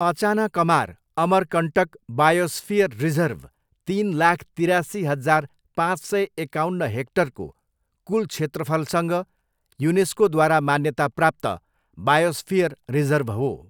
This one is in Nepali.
अचानकमार अमरकन्टक बायोस्फियर रिजर्भ तिन लाख तिरासी हजार पाँच सय एकाउन्न हेक्टरको कुल क्षेत्रफलसँग युनेस्कोद्वारा मान्यताप्राप्त बायोस्फियर रिजर्भ हो।